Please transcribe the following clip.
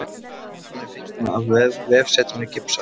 Myndin er fengin af vefsetrinu GIPSA